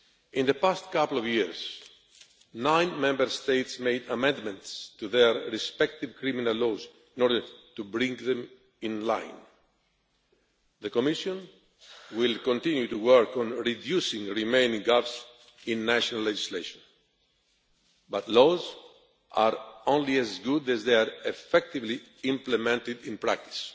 In the past couple of years nine Member States have made amendments to their respective criminal laws in order to bring them in line. The Commission will continue to work on reducing the remaining gaps in national legislation, but laws are only as good as they are effectively implemented in practice.